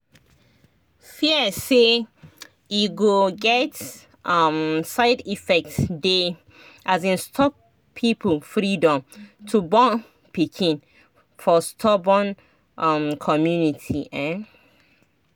fear say e go get um side effect dey um stop people freedom to born pikin for storbun um community ehn